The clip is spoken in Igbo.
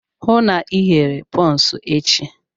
Hụụ na Ị ghere bọns echi!